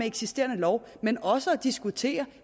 eksisterende lov men også at diskutere